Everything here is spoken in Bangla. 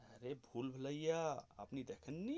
আরে ভুলভুলাইয়া আপনি দেখনি.